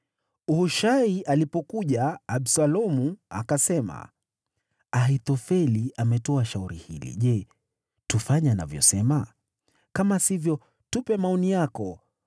Hushai alipokuja, Absalomu akasema, “Ahithofeli ametoa shauri hili. Je, tufanye anavyosema? Kama sivyo, tupe maoni yako.”